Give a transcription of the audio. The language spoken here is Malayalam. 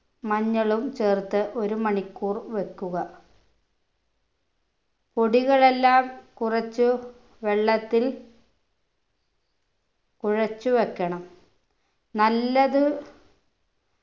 മഞ്ഞളും ചേർത്ത് ഒരു മണിക്കൂർ വെക്കുക പൊടികളെല്ലാം കുറച്ചു വെള്ളത്തിൽ കുഴച്ചു വെക്കണം നല്ലത്